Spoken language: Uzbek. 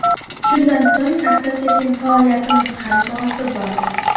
Shundan so‘ng asta-sekin faoliyatimiz hajmi ortib bordi.